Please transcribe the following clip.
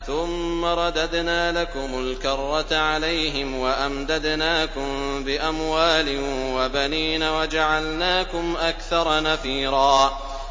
ثُمَّ رَدَدْنَا لَكُمُ الْكَرَّةَ عَلَيْهِمْ وَأَمْدَدْنَاكُم بِأَمْوَالٍ وَبَنِينَ وَجَعَلْنَاكُمْ أَكْثَرَ نَفِيرًا